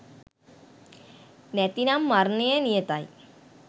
නැතිනම් මරණය නියතයි.